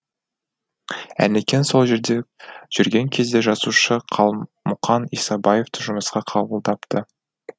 әнекең сол жерде жүрген кезде жазушы қалмұқан исабаевты жұмысқа қабылдапты